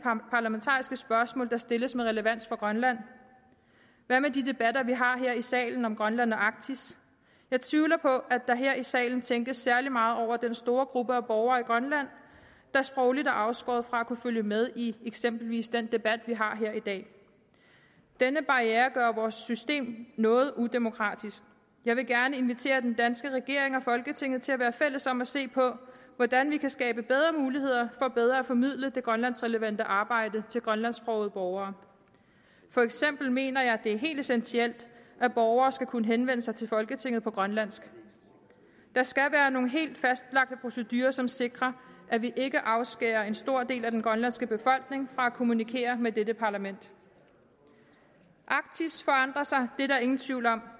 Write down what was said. parlamentariske spørgsmål der stilles med relevans for grønland hvad med de debatter vi har her i salen om grønland og arktis jeg tvivler på at der her i salen tænkes særlig meget over den store gruppe af borgere i grønland der sprogligt er afskåret fra at kunne følge med i eksempelvis den debat vi har her i dag denne barriere gør vores system noget udemokratisk jeg vil gerne invitere den danske regering og folketinget til at være fælles om at se på hvordan vi kan skabe bedre muligheder for bedre at formidle det grønlandsrelevante arbejde til grønlandsksprogede borgere for eksempel mener jeg det er helt essentielt at borgere skal kunne henvende sig til folketinget på grønlandsk der skal være nogle helt fastlagte procedurer som sikrer at vi ikke afskærer en stor del af den grønlandske befolkning fra at kommunikere med dette parlament arktis forandrer sig det er der ingen tvivl om